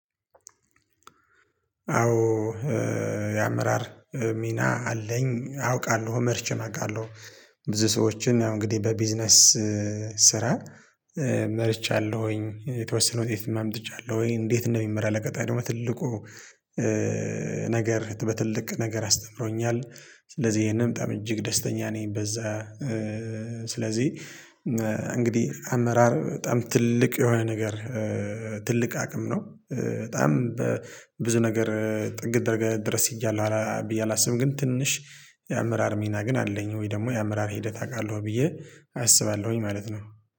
አዎ የአመራር ሚና አለኝ አውቃለሁ መርቼም አቃለሁ። ብዙ ሰዎችን እንግዲህ በቢዝነስ ስራ መርቻለሁኝ የተወሰነ ውጤትም አምጥቻለሁኝ። እንዴት እንደሚመራ ለቀጣይ ደግሞ ትልቁ ነገር በትልቅ ነገር አስተምሮኛል። ስለዚህ ይሄንም በጣም እጅግ ደስተኛ ነኝ በዛ። ስለዚህ እንግዲህ አመራር በጣም ትልቅ የሆነ ነገር ትልቅ አቅም ነው። በጣም በብዙ ነገር ጥግ ድረስ ሄጃለው ብዬ አላስብም ግን ትንሽ የአመራር ሚና ግን አለኝ። ወይ ደግሞ የአመራር ሂደት አውቃለሁ ብዬ አስባለሁኝ ማለት ነው